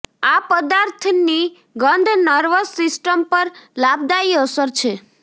આ પદાર્થની ગંધ નર્વસ સિસ્ટમ પર લાભદાયી અસર છે